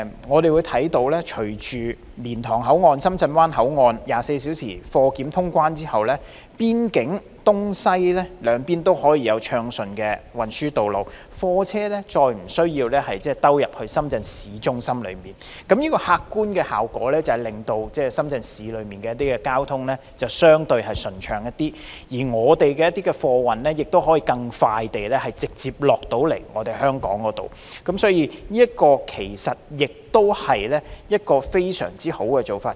我們可看到，隨着蓮塘口岸、深圳灣口岸實施24小時貨檢通關後，邊境東西兩邊都可以有暢順的運輸道路，貨車再不用經過深圳市中心，這帶來的客觀效果是深圳市內的交通相對順暢一些，而貨物也可以更快、更直接地運抵香港，這其實是非常好的。